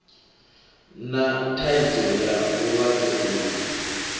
na thaidzo ya vhulwadze uvhu